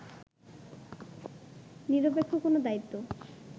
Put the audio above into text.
নিরপেক্ষ কোনো দায়িত্ব